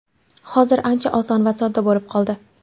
Hozir ancha oson va sodda bo‘lib qoldi.